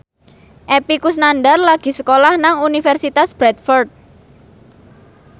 Epy Kusnandar lagi sekolah nang Universitas Bradford